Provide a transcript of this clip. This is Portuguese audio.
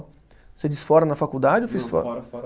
Você diz fora na faculdade ou fiz fora? Não, fora, fora